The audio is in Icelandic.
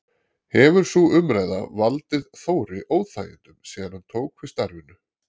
Hefur sú umræða valdið Þóri óþægindum síðan hann tók við starfinu?